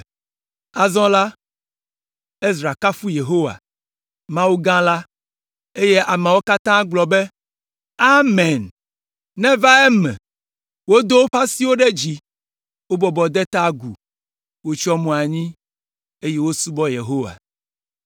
Azɔ la, Ezra kafu Yehowa, Mawu gã la, eye ameawo katã gblɔ be, “Amen! Neva eme!” Wodo woƒe asiwo ɖe dziƒo, wobɔbɔ de ta agu, wotsyɔ mo anyi, eye wosubɔ Yehowa.